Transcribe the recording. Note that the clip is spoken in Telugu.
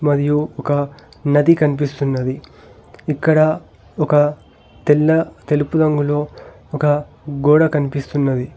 మరియు ఒక నది కనిపిస్తున్నది ఇక్కడ ఒక తెల్ల తెలుపు రంగులో ఒక గోడ కనిపిస్తున్నది.